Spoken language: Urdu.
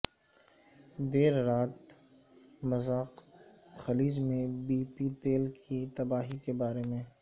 دیر رات رات مذاق خلیج میں بی پی تیل کی تباہی کے بارے میں